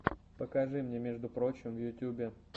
покажи мне между прочим в ютьюбе